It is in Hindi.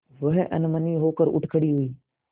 वह अनमनी होकर उठ खड़ी हुई